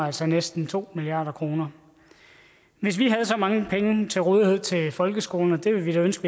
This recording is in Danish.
altså næsten to milliard kroner hvis vi havde så mange penge til rådighed til folkeskolen og det ville vi da ønske